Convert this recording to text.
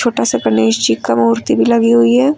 छोटा सा गणेश जी का मूर्ति भी लगी हुई है।